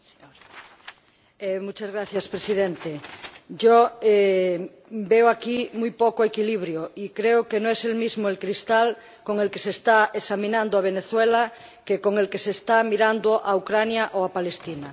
Señor Presidente, yo veo aquí muy poco equilibrio y creo que no es el mismo el cristal con el que se está examinando a Venezuela que con el que se está mirando a Ucrania o a Palestina.